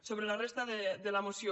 sobre la resta de la moció